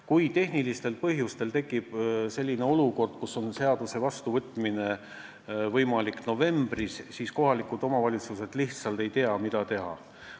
Kui tehnilistel põhjustel tekib selline olukord, et seaduse saab vastu võtta alles novembris, siis kohalikud omavalitsused lihtsalt ei tea, mida teha.